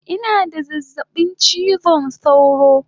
Ina da zazzabin chizon sauro